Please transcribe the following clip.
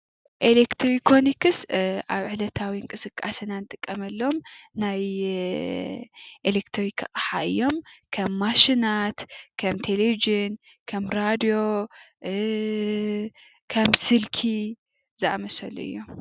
ኤሌትሮኒክስ ኣብ ዕለታዊ ምንቅስቃስና ንጥቀመሎም ናይ ኤሌትርክ ኣቅሓ እዮም። ከም ማሽናት፣ ከም ቴሌቭዝን፣ ከም ሬድዮ ፣ከም ስልኪ ዝኣምሰሉ እዮም።